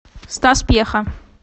стас пьеха